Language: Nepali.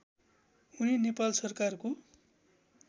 उनी नेपाल सरकारको